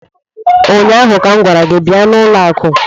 ụnyaahụ ka m gwara gị bịa n'ụlọ akụ!